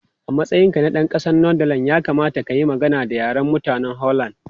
A matsayinka na ɗan ƙasar Netherlands, ya kamata ka yi magana da Yaren mutanen Holland.